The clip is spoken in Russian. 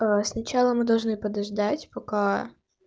сначала мы должны подождать пока